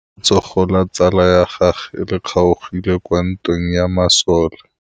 Letsôgô la tsala ya gagwe le kgaogile kwa ntweng ya masole.